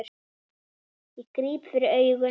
Ég gríp fyrir augun.